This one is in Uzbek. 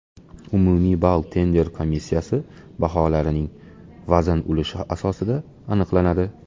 Umumiy ball tender komissiyasi baholarining vazn ulushi asosida aniqlanadi.